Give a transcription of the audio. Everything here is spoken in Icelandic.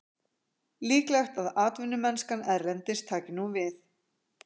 Líklegt að atvinnumennskan erlendis taki nú við.